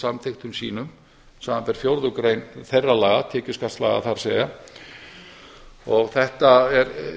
samþykktum sínum samanber fjórðu grein þeirra laga það er tekjuskattslaga og þetta er